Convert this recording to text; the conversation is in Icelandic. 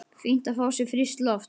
Fínt að fá sér frískt loft.